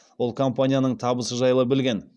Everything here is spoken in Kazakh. ол компанияның табысы жайлы білген